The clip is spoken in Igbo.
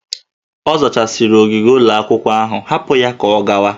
Ọ zachasịrị ogige ụlọ akwụkwọ, hapụ ya ka ọ gawa!